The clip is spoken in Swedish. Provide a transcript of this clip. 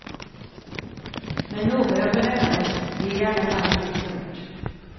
Men några får lämna oss, det är i alla fall helt klart.